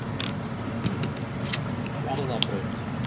Garðabraut